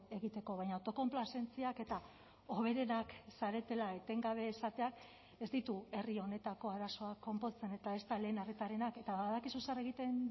egiteko baina autokonplazentziak eta hoberenak zaretela etengabe esateak ez ditu herri honetako arazoak konpontzen eta ezta lehen arretarenak eta badakizu zer egiten